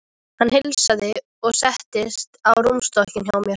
Hann heilsaði og settist á rúmstokkinn hjá mér.